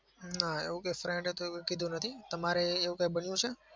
ના. એવું કોઈ friend એ તો કીધું નથી. તમારે એવું કઈ બન્યું છે?